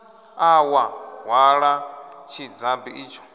ḓa wa hwala tshidzabi itsho